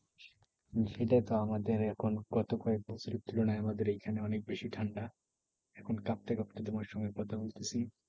হুম সেটাই তো। আমাদের এখন গত কয়েক বছরের তুলনায় আমাদের এইখানে অনেক বেশি ঠান্ডা। এখন কাঁপতে কাঁপতে তোমার সাথে কথা বলতেসি।